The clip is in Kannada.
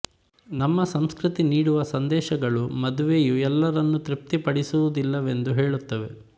ನಮ್ಮ ಸಂಸ್ಕೃತಿ ನೀಡುವ ಸಂದೇಶಗಳು ಮದುವೆಯು ಎಲ್ಲರನ್ನು ತೃಪ್ತಿಪಡಿಸುವುದಿಲ್ಲವೆಂದು ಹೇಳುತ್ತವೆ